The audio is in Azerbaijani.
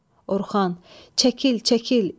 Ah, Orxan, çəkil, çəkil!